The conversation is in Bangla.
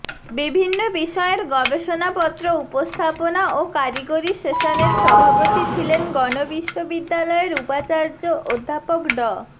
বিভিন্ন বিষয়ের গবেষণাপত্র উপস্থাপনা ও কারিগরি সেশনের সভাপতি ছিলেন গণ বিশ্ববিদ্যালয়ের উপচার্য অধ্যাপক ড